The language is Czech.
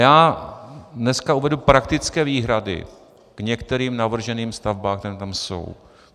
Já dneska uvedu praktické výhrady k některým navrženým stavbám, které tam jsou.